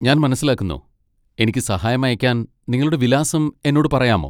ഞാൻ മനസിലാക്കുന്നു, എനിക്ക് സഹായം അയയ്ക്കാൻ നിങ്ങളുടെ വിലാസം എന്നോട് പറയാമോ?